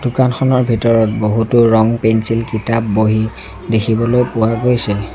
দোকানখনৰ ভিতৰত বহুতো ৰং-পেঞ্চিল কিতাপ বহী দেখিবলৈ পোৱা গৈছে।